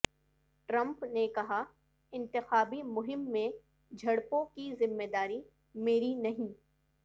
Trump نے کہا انتخابی مہم میں جھڑپوں کی ذمہ داری میری نہیں